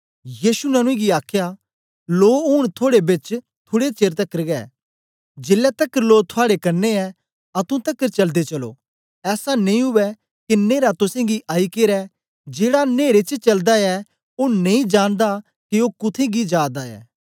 यीशु ने उनेंगी आखया लो ऊन थोडे बेच थुड़े चेर तकर ऐ जेलै तकर लो थुआड़े कन्ने ऐ अतुं तकर चलदे चलो ऐसा नेई उवै के न्हेरा तुसेंगी आई केरै जेड़ा नेरे च चलदा ऐ ओ नेई जानदा के ओ कुत्थें गी जा दा ऐ